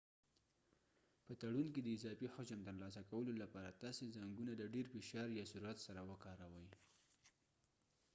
په تړون کې د اضافي حجم ترلاسه کولو لپاره تاسي زنګونه د ډیر فشار یا سرعت سره کاروئ